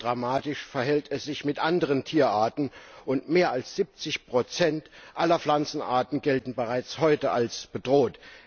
Ebenso dramatisch verhält es sich mit anderen Tierarten, und mehr als 70 aller Pflanzenarten gelten bereits heute als bedroht.